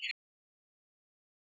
En Logi?